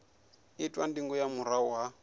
itwa ndingo nga murahu ha